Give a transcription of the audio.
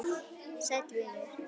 Sæll, vinur.